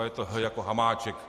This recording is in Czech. A je to h jako Hamáček.